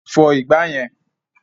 Fọ ìgbà yẹn!